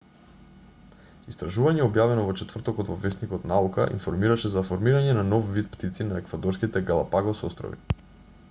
истражување објавено во четвртокот во весникот наука информираше за формирање на нов вид птици на еквадорските галапагос острови